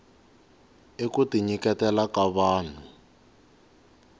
i kuti nyiketela ka vahnu